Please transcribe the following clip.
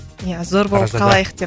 ия зор болып қалайық деп